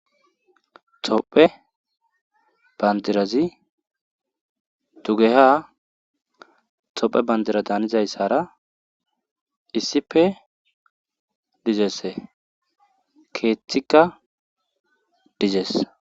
tophe bandirazi tugeha tophe bandira daanizayssara iisipe dizese keeththikka dizes